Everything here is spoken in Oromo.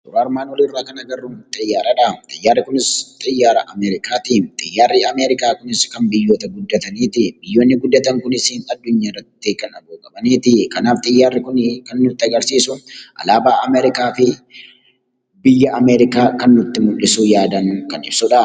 Suura armaan olii irratti kan arginu xiyyaaradha. Xiyyaarri Kunis xiyyaara Ameerikaat. Xiyyaarri Ameerikaa Kunis xiyyaara biyyoota guddataniiti. Xiyyaarri Kunis kan nutti mul'isu alaabaa Ameerikaa fi barreeffama Ameerikaa jedhudha.